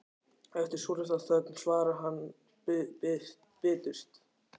Eftir svolitla þögn svarar hann biturt